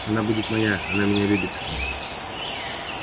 она будет моя она меня любит